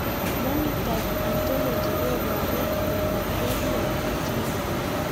Phenotype ontology kopararu miondop ADNP syndrome